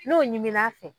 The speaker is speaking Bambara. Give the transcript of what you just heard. N'o ɲimin'a fɛ